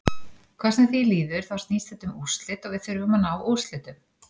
Hvað sem því líður þá snýst þetta um úrslit og við þurfum að ná úrslitum.